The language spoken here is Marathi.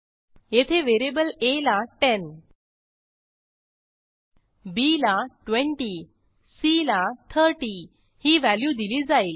येथे व्हेरिएबल आ ला 10 बी ला 20 सी ला 30 ही व्हॅल्यू दिली जाईल